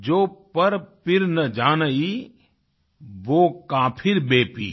जो पर पीर न जानही सो का पीर में पीर